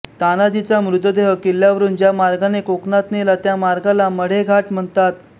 तानाजीचा मृतदेह किल्ल्यावरून ज्या मार्गाने कोकणात नेला त्या मार्गाला मढे घाट म्हणतात